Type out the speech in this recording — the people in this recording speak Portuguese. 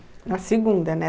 Na segunda, né?